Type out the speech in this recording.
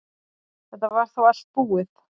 Þetta var þá allt búið.